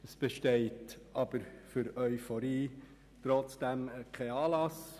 Aber trotzdem besteht für Euphorie kein Anlass.